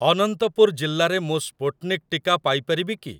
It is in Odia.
ଅନନ୍ତପୁର ଜିଲ୍ଲାରେ ମୁଁ ସ୍ପୁଟ୍‌ନିକ୍ ଟିକା ପାଇ ପାରିବି କି?